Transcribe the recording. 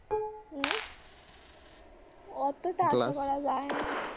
উম অতটা আশা করা যায় না।